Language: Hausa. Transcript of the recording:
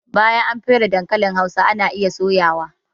Bayan an fere dankalin hausa ana iya soya wa